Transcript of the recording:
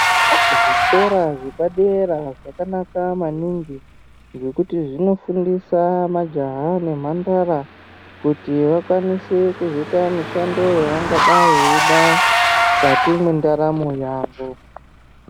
Zvikora zvepadera zvakanaka maningi ngekuti zvinofundisa majaha nemhandara. Kuti vakwanise kuzoita mishando yavangadai veida mukati mwendaramo yavo.